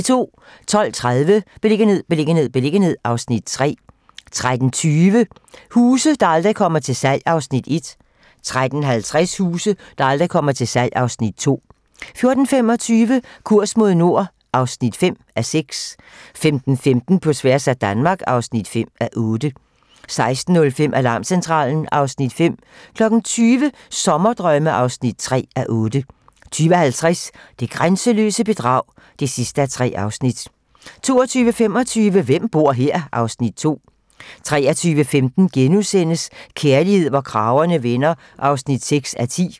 12:30: Beliggenhed, beliggenhed, beliggenhed (Afs. 3) 13:20: Huse, der aldrig kommer til salg (Afs. 1) 13:50: Huse, der aldrig kommer til salg (Afs. 2) 14:25: Kurs mod nord (5:6) 15:15: På tværs af Danmark (5:8) 16:05: Alarmcentralen (Afs. 5) 20:00: Sommerdrømme (3:8) 20:50: Det grænseløse bedrag (3:3) 22:25: Hvem bor her? (Afs. 2) 23:15: Kærlighed, hvor kragerne vender (6:10)*